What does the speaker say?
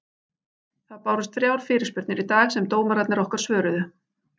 Það bárust þrjár fyrirspurnir í dag sem dómararnir okkar svöruðu.